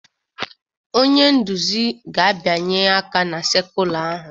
Onye nduzi ga-abịanye aka na sekula ahụ